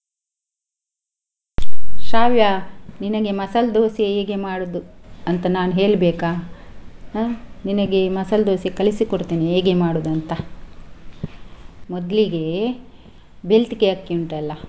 ಶ್ರಾವ್ಯ ನಿನಗೆ ಮಸಾಲಾ ದೋಸಾ ಹೇಗೆ ಮಾಡುದು ಅಂತ ನಾನು ಹೇಳ್ಬೇಕಾ ಹಾ ನಿನಗೆ ಮಸಾಲಾ ದೋಸಾ ಕಳಿಸಿಕೋಡ್ತೆನೆ ಹೇಗೆ ಮಾಡುದು ಅಂತ. ಮೊದ್ಲಿಗೆ ಬೆಳ್ತಿಗೆ ಅಕ್ಕಿ ಉಂಟಲ್ಲ.